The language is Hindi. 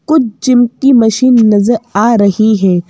कुछ जिम की मशीन नजर आ रही है।